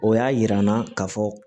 O y'a yira n na ka fɔ